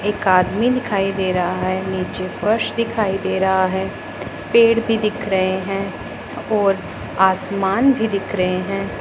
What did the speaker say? एक आदमी दिखाई दे रहा है नीचे फर्श दिखाई दे रहा है पेड़ भी दिख रहे हैं और आसमान भी दिख रहे हैं।